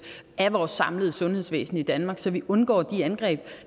af vores samlede sundhedsvæsen i danmark så vi undgår de angreb